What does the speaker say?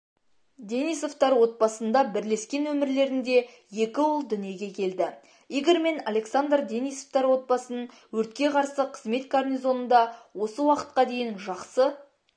денисовтар отбасында бірлескен өмірлерінде екі ұл дүниеге келді игорь мен александр денисовтар отбасын өртке қарсы қызмет гарнизонында осы уақытқа дейін жақсы